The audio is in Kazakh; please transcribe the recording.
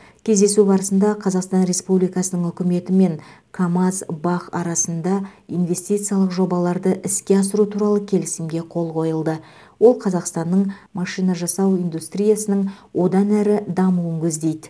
кездесу барысында қазақстан республикасының үкіметі мен камаз бақ арасында инвестициялық жобаларды іске асыру туралы келісімге қол қойылды ол қазақстанның машина жасау индустриясының одан әрі дамуын көздейді